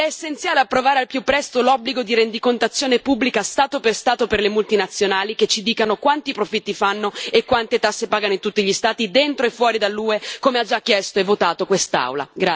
Ed è essenziale approvare al più presto l'obbligo di rendicontazione pubblica Stato per Stato per le multinazionali, affinché ci dicano quanti profitti fanno e quante tasse pagano in tutti gli Stati dentro e fuori dall'UE, come ha già chiesto e votato quest'Aula.